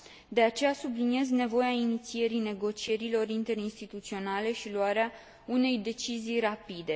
De aceea, subliniez nevoia inițierii negocierilor interinstituționale și a luării unei decizii rapide.